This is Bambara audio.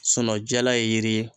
jala ye yiri ye